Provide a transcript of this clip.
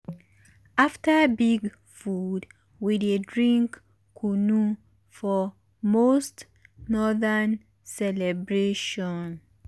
after big food we dey drink kunu for most northern celebration.